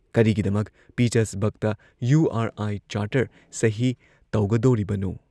"ꯀꯔꯤꯒꯤꯗꯃꯛ ꯄꯤꯇꯔꯁꯕꯔꯒꯇ ꯌꯨ ꯑꯥꯔ ꯑꯥꯏ ꯆꯥꯔꯇꯔ ꯁꯍꯤ ꯇꯧꯒꯗꯣꯔꯤꯕꯅꯣ?